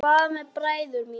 Og hvað með bræður mína?